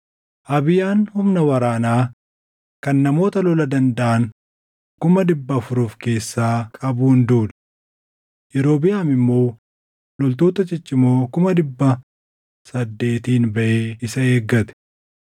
Abiyaan humna waraanaa kan namoota lola dandaʼan kuma dhibba afur of keessaa qabuun duule; Yerobiʼaam immoo loltoota ciccimoo kuma dhibba saddeetiin baʼee isa eegate.